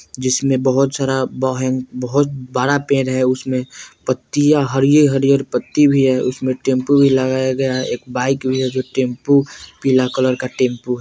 जिसमे बोहोत सारा बहं बहुत बड़ा पेड़ है उसमे पत्तिया हरियर-हरियर पत्ती भी है उसमे टेंपो भी लगाया गया है एक बाइक भी है जो टेम्पू पीला कलर का टेंपु है।